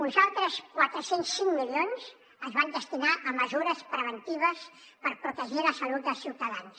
uns altres quatre cents i cinc milions es van destinar a mesures preventives per protegir la salut dels ciutadans